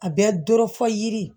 A bɛ doɔrɔ fɔ yiri